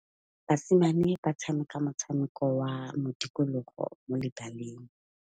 Basimane ba tshameka motshameko wa modikologô mo lebaleng.